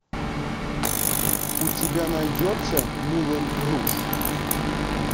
у тебя найдется мулен руж